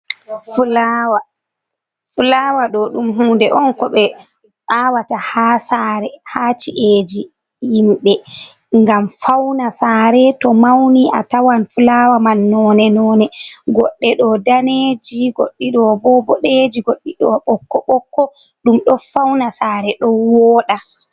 Flawa, fulawa ɗo ɗom hunde on ko ɓe awata ha sare, ha ci'eji himɓe, gam fauna sare to mauni atawan fulawa mai no ne-no ne, goɗɗe do daneeji, goɗɗe ɗo boɗeji, goɗɗe ɓokko ɓokko, ɗom ɗo fauna sare ɗo woɗa.